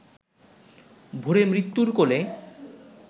ভোরে মৃত্যুর কোলে